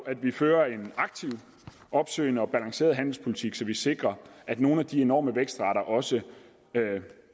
at vi fører en aktiv opsøgende og balanceret handelspolitik så vi sikrer at nogle af de enorme vækstrater også